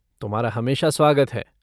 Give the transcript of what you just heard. तुम्हारा हमेशा स्वागत है।